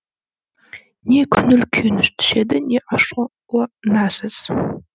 не көңіл күйіңіз түседі не ашуланасыз